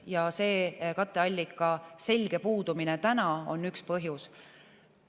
Ja katteallika selge puudumine on üks põhjus.